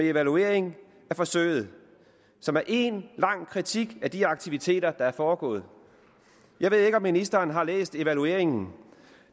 evaluering af forsøget som er én lang kritik af de aktiviteter der er foregået jeg ved ikke om ministeren har læst evalueringen